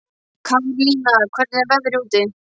Karlína, hvernig er veðrið úti?